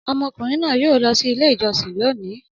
Ọmọkùnrin náà yóò lọ Ilé-ìjọsìn lónìí!